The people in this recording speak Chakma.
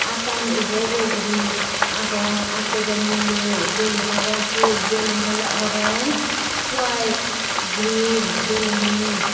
attani ubo ubo goriagong attojon milay balloon agon sot balloon ole orange white green balloonun.